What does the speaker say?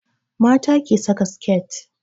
Mata ke saka siket